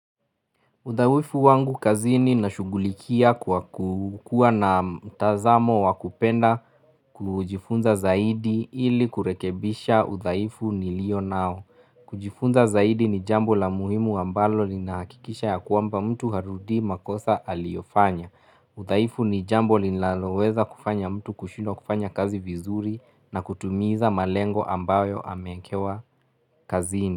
Udhaifu wangu kazini nashugulikia kwa kukua na mtazamo wakupenda kujifunza zaidi ili kurekebisha udhaifu nilio nao. Kujifunza zaidi ni jambo la muhimu ambalo linahakikisha ya kwamba mtu harudii makosa aliyofanya udhaifu ni jambo linaloweza kufanya mtu kushindwa kufanya kazi vizuri na kutumiza malengo ambayo amekewa kazini.